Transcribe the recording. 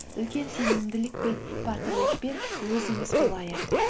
үлкен сенімділікпен батырлықпен өзіміз болайық